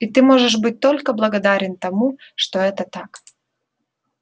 и ты можешь быть только благодарен тому что это так